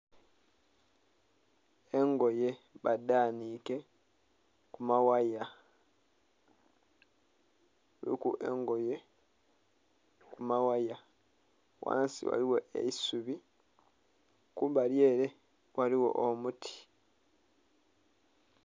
Engoye baghanhike ku maghaaya kuliku engoye ku maghaaya, ghansi ghaligho eisubi kumbali ere ghaligho omuti